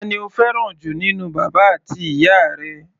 Ta ni o fẹ́ràn jù nínú bàbá àti ìyá rẹ?